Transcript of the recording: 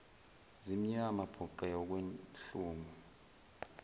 zimnyama bhuqe okwehlungu